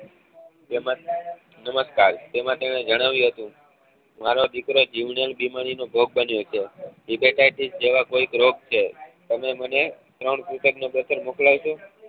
નમસ્કાર જણાવ્યું હતું મારો દીકરો જીવલેણ બીમારી નો ભોગ બન્યો છે hettich કોઈક રોગ છે તમે મને ત્રણ મોકલાવશો